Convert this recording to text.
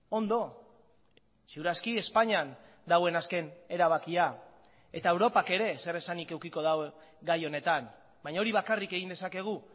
ondo ziur aski espainian dagoen azken erabakia eta europak ere zeresanik edukiko du gai honetan baina hori bakarrik egin dezakegu